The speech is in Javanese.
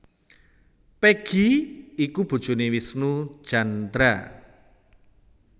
Peggy iku bojoné Wisnu Tjandra